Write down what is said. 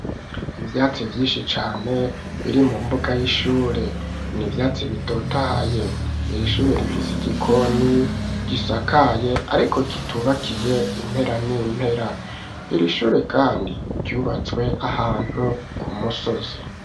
Ivyatsi vyinshi cane biri mu mbuga y'ishure ni vyatsi bitotahaye ,iri shure rifise igikoni gisakaye ariko kitubakiye impera n'impera ,iri shure kandi ryubatswe ahantu ku musozi.